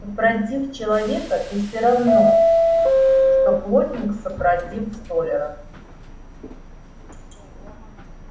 супротив человека ты всё равно что плотник супротив столяра